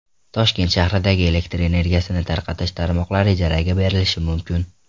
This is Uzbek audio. Toshkent shahridagi elektr energiyasi tarqatish tarmoqlari ijaraga berilishi mumkin.